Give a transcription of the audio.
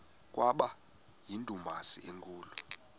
kwaba yindumasi enkulu